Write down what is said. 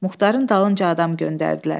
Muxtarın dalınca adam göndərdilər.